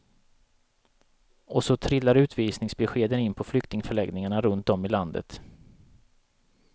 Och så trillar utvisningsbeskeden in på flyktingförläggningarna runt om i landet.